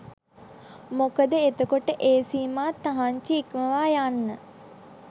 මොකද එතකොට ඒ සීමා තහන්චි ඉක්මවා යන්න